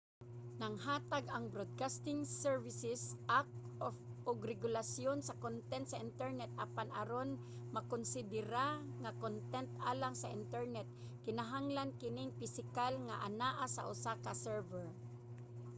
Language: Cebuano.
nagahatag ang broadcasting services act og regulasyon sa kontent sa internet apan aron makonsidera nga kontent alang sa internet kinahanglan kining pisikal nga anaa sa usa ka server